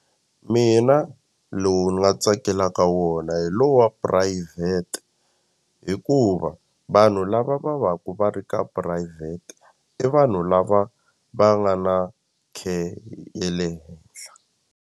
Mina lowu ni nga tsakelaka wona hi lo wa phurayivhete hikuva vanhu lava va va ku va ri ka phurayivhete i vanhu lava va nga na care ye le henhla.